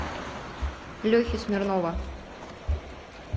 лехи смирнова